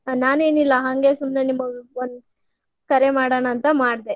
ನಾನೇನಿಲ್ಲಾ ಹಂಗೆ ಸುಮ್ನೆ ನಿಮ್ಗ್ ಒಂದ್ ಕರೆ ಮಾಡಣ ಅಂತ್ ಮಾಡ್ದೆ.